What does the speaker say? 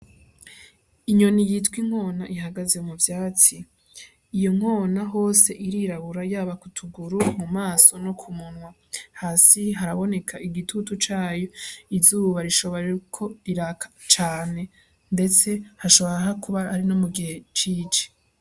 Inyoni yitwa inkona ihagaze mu vyatsi iyo nkona hose irirabura yaba kutuguru mu maso no ku munwa hasi haraboneka igitutu cayo izuba rishobora kuba riraka cane ndetse hashoboraka kuba arino mu gihe cici.